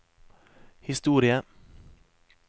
historie